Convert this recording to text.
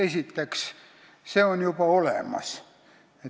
Esiteks, see on juba olemas.